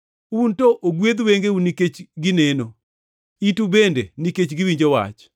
Un to ogwedh wengeu nikech gineno, itu bende nikech giwinjo wach.